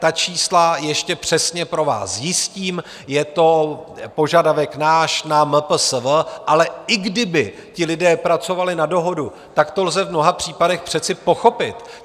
Ta čísla ještě přesně pro vás zjistím, je to požadavek náš na MPSV, ale i kdyby ti lidé pracovali na dohodu, tak to lze v mnoha případech přece pochopit.